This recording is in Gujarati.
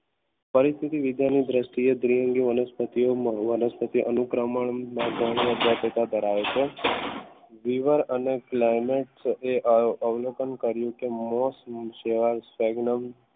પરંતુ વિધાનુ દ્રષ્ટિએ દ્વિઅંગી વનસ્પતિઓ અનુકરણ કરાવે છે લીવર અને ક્લાઇમેક્સ એ અવલોકન કર્યું કે મોસ